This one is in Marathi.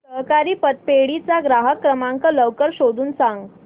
सहकारी पतपेढी चा ग्राहक सेवा क्रमांक लवकर शोधून सांग